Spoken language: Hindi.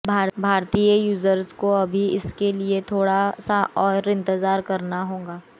भारतीय यूज़र्स को अभी इसके लिए थोड़ा सा और इंतजार करना होगा